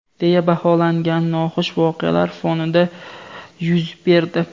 deya baholangan noxush voqealar fonida yuz berdi.